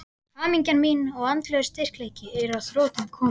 Hamingja mín og andlegur styrkleiki er að þrotum kominn.